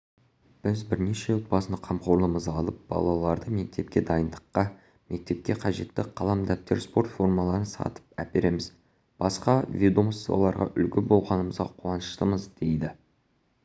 біз бірнеше отбасыны қамқорлығымызға алып балаларды мектепке дайындадық мектепке қажетті қалам-дәптер спорт формаларын сатып әпереміз басқа ведомстволарға үлгі болғанымызға қуаныштымыз дейді